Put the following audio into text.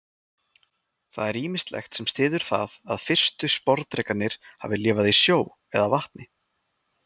Það er ýmislegt sem styður það að fyrstu sporðdrekarnir hafi lifað í sjó eða vatni.